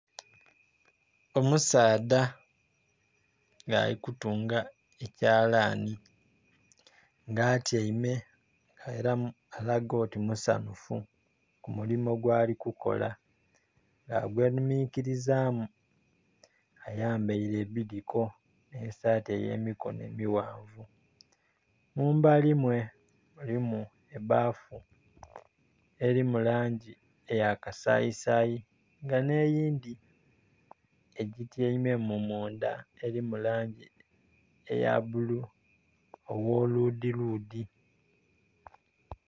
Omusaadha nga ali kutunga ekyalani, nga atyaime era alaga oti musanfu, ku mulimo gwali kukola. Agwenhuminkirizaamu, ayambaire ebidiko, ne sati ey'emikono emighanvu. Mumbali mwe mulimu ebaafu eri mu langi eya kasayisayi nga n'eyindhi egityaimemu mundha eri mu langi eya bulu ogh'oludhiludhi.